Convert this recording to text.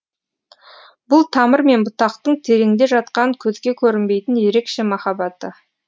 бұл тамыр мен бұтақтың тереңде жатқан көзге көрінбейтін ерекше махаббаты